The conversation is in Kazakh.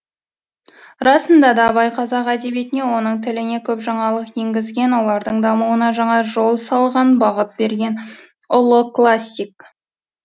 расында да абай қазақ әдебиетіне оның тіліне көп жаңалық енгізген олардың дамуына жаңа жол салған бағыт берген ұлы классик